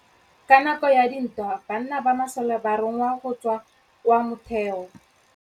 Ka nakô ya dintwa banna ba masole ba rongwa go tswa kwa mothêô.